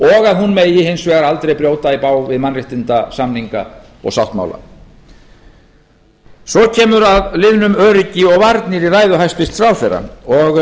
og að hún megi hins vegar aldrei brjóta í bága við mannréttindasamninga og sáttmála svo kemur að liðnum öryggi og varnir í ræðu hæstvirts ráðherra og